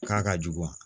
K'a ka jugu